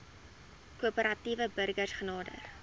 korporatiewe burgers genader